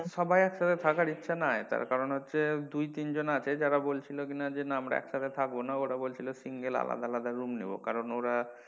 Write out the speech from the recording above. সবার একসাথে থাকার ইচ্ছা নাই তার কারন হচ্ছে দুই তিন জন আছে তারা বলছিলো কিনা হচ্ছে না আমরা একসাথে থাকবো না ওরা বলছিলো single আলাদা আলাদা room নেবো কারন ওরা,